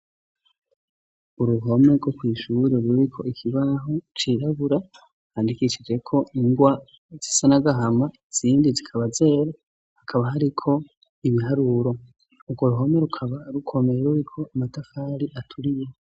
Uruhome rwo kw'ishure ruriko ikibaho cirabura. Handikisije ko ingwa zisanagahama izindi zikaba zera hakaba hariko ibiharuro urwo ruhome rukaba rukomeye ruriko amatafari aturiye